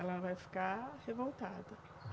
Ela vai ficar revoltada.